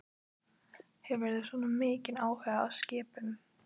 Hefur þú svona mikinn áhuga á skipum?